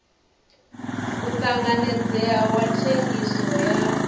u tanganedzeaho wa thengiso ya